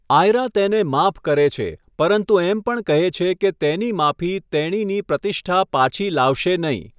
આયરા તેને માફ કરે છે પરંતુ એમ પણ કહે છે કે તેની માફી તેણીની પ્રતિષ્ઠા પાછી લાવશે નહીં.